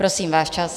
Prosím, váš čas.